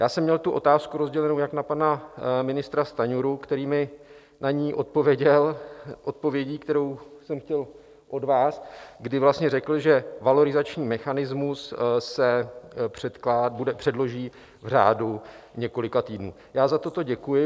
Já jsem měl tu otázku rozdělenou jak na pana ministra Stanjuru, který mi na ní odpověděl odpovědí, kterou jsem chtěl od vás, kdy vlastně řekl, že valorizační mechanismus se předloží v řádu několika týdnů, já za toto děkuji.